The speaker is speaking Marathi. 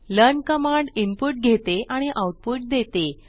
लर्न कमांड इनपुट घेते आणि आउटपुट देते